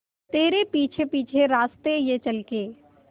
तेरे पीछे पीछे रास्ते ये चल के